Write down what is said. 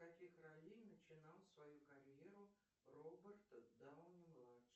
с каких ролей начинал свою карьеру роберт дауни младший